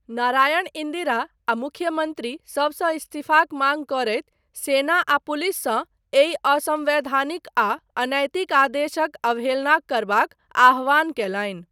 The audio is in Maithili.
नारायण इन्दिरा आ मुख्यमन्त्री सबसँ इस्तीफाक माङ्ग करैत सेना आ पुलिस सँ एहि असंवैधानिक आ अनैतिक आदेशक अवहेलना करबाक आह्वान कयलनि।